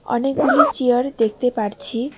অনেকগুলি চেয়ার দেখতে পারছি।